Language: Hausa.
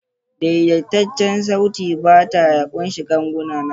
Daidaitaccen saitin bata ya ƙunshi ganguna nawa?